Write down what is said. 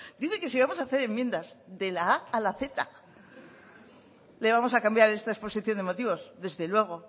dice que si vamos a hacer enmiendas de la a a la zeta le vamos a cambiar esta exposición de motivos desde luego